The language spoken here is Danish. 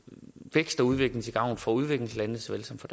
vækst og udvikling til gavn for udviklingslandene såvel som for